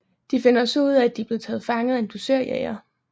De finder så ud af at de er blevet fanget af en dusørjæger